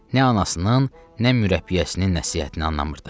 Nə anasının, nə mürəbbiyəsinin nəsihətinə qanımrdı.